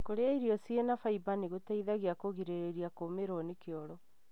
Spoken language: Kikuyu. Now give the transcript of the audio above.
Kũrĩa irio cĩina faimba nĩgũteithagia kũrigĩrĩria kũmĩrũo nĩ kioro.